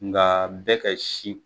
Nka bɛ ka si